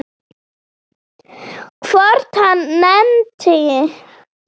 Hvort hann nennti.